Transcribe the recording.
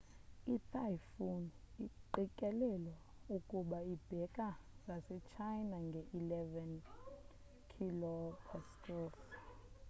i typhoon iqikelelwa ukuba ibheka ngase china nge eleven kph